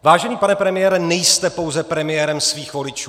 Vážený pane premiére, nejste pouze premiérem svých voličů!